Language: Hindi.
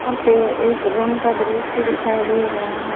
यहां पे एक रूम का दृश्य दिखाई दे रहे हैं।